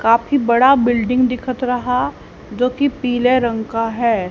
काफी बड़ा बिल्डिंग दिखत रहा जोकि पीले रंग का है।